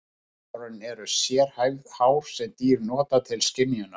Veiðihár eru sérhæfð hár sem dýr nota til skynjunar.